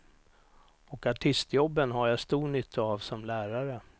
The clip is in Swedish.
Och artistjobben har jag stor nytta av som lärare.